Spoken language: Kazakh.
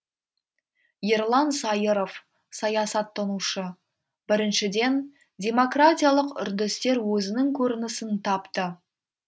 ерлан сайыров саясаттанушы біріншіден демократиялық үрдістер өзінің көрінісін тапты